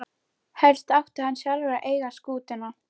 Helst átti hann sjálfur að eiga skútuna.